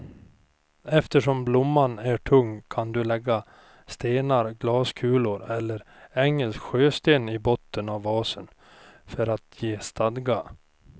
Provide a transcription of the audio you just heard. Eftersom blomman är tung kan du lägga stenar, glaskulor eller engelsk sjösten i botten av vasen för att ge stadga.